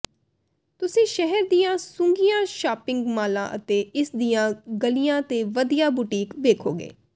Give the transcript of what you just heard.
ਤੁਸੀਂ ਸ਼ਹਿਰ ਦੀਆਂ ਸੁੱਘੀਆਂ ਸ਼ਾਪਿੰਗ ਮਾਲਾਂ ਅਤੇ ਇਸ ਦੀਆਂ ਗਲੀਆਂ ਤੇ ਵਧੀਆ ਬੁਟੀਕ ਵੇਖੋਗੇ